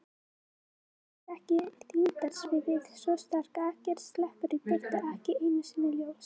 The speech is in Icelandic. Umhverfis það er þyngdarsviðið svo sterkt að ekkert sleppur í burtu, ekki einu sinni ljós.